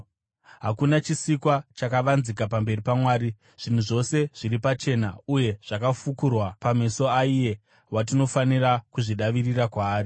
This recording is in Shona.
Hakuna chisikwa chakavanzika pamberi paMwari. Zvinhu zvose zviri pachena uye zvakafukurwa pameso aiye watinofanira kuzvidavirira kwaari.